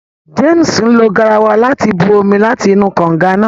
James lo garawa láti bù omí láti inú kànga náà